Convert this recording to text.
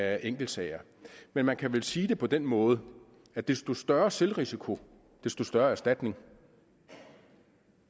af enkeltsager men man kan vel sige det på den måde at desto større selvrisiko desto større erstatning